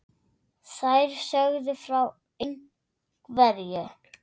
Þær sögðu frá ein- hverju.